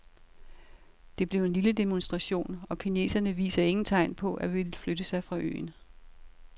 Det blev en lille demonstration, og kineserne viser ingen tegn på at ville flytte sig fra øen.